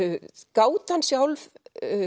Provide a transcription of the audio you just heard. gátan sjálf